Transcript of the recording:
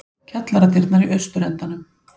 Kjallaradyrnar í austurendanum.